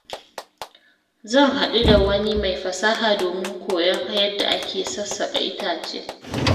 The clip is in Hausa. Zan haɗu da wani mai fasaha domin koyon yadda ake sassaka itace.